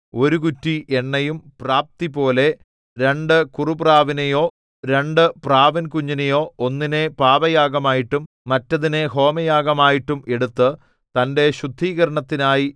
ഒരു കുറ്റി എണ്ണയും പ്രാപ്തിപോലെ രണ്ടു കുറുപ്രാവിനെയോ രണ്ടു പ്രാവിൻകുഞ്ഞിനെയോ ഒന്നിനെ പാപയാഗമായിട്ടും മറ്റതിനെ ഹോമയാഗമായിട്ടും എടുത്ത് തന്റെ ശുദ്ധീകരണത്തിനായി